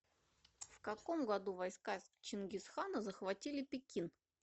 в каком году войска чингисхана захватили пекин